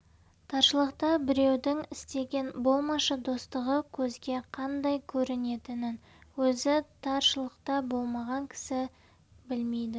таршылықта біреудің істеген болмашы достығы көзге қандай көрінетінін өзі таршылықта болмаған кісі білмейді